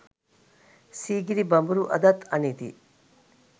සිගිරි බඹරු අදත් අනිති